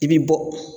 I bi bɔ